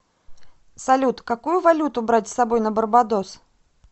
салют какую валюту брать с собой на барбадос